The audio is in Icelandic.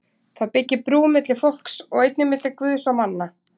Það byggir brú milli fólks og einnig milli Guðs og manna.